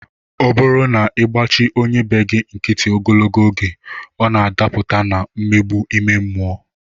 Ọ bụrụ na ị gbachi onye be gị nkịtị ogologo oge, ọ na-adapụta na mmegbu ime mmụọ